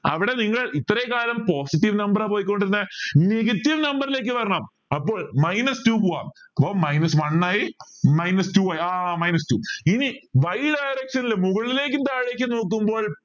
അവിടെ നിങ്ങൾ ഇത്രയും കാലം positive number ആ പോയിക്കൊണ്ടിരുന്ന negative number ലേക്ക് വരണം minus two പോവാം minus one ആയി minus two ആയി ആഹ് minus two ഇനി y direction ൽ മുകളിലേക്കും താഴേക്കും നോക്കുമ്പോൾ